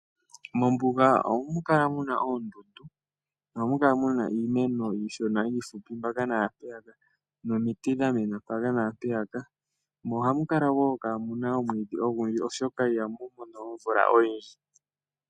Mombuga ohamu kala muna oondundu, ohamu kala muna iimeno iishona yi li mpaka naampeyaka, nomiti dha mena mpaka naampeyaka, mo ohamu kala woo kaa muna omwiidhi ogundji, oshoka ihamu mono omvula oyindji.